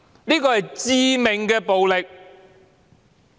這是致命的暴力，主席。